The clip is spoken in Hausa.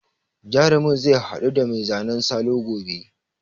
Jarumin zai haɗu da mai zanen salo gobe.